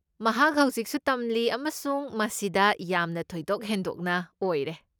ꯃꯍꯥꯛ ꯍꯧꯖꯤꯛꯁꯨ ꯇꯝꯂꯤ ꯑꯃꯁꯨꯡ ꯃꯁꯤꯗ ꯌꯥꯝꯅ ꯊꯣꯏꯗꯣꯛ ꯍꯦꯟꯗꯣꯛꯅ ꯑꯣꯏꯔꯦ꯫